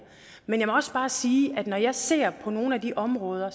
men jeg må også bare sige at når jeg ser på nogle af de områder